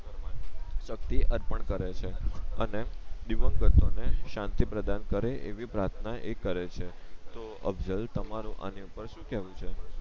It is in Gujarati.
શક્તિ અર્પણ કરે છે અને દિવંગતો ને શાંતિ પ્રદાન કરે એવી પ્રાથના એ કરે છે તો અફસલ તમારું આની ઉપર શું કેવું છે